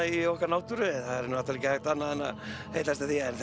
í okkar náttúru það er ekki hægt annað en að heillast af því en